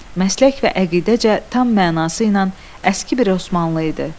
Məslək və əqidəcə tam mənası ilə əski bir Osmanlı idi.